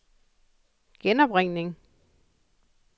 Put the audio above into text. genopringning